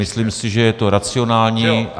Myslím si, že je to racionální.